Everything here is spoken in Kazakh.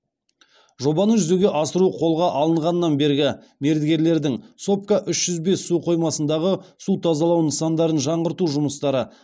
жобаны жүзеге асыру қолға алынғаннан бергі мердігерлердің сопка үш жүз бес су қоймасындағы су тазалау нысандарын жаңғырту жұмыстары